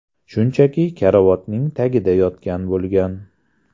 Shunchaki karavotning tagida yotgan bo‘lgan.